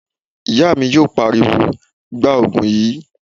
Ìyá mi yóò pariwo, 'Gbaa Ògùn yìí!'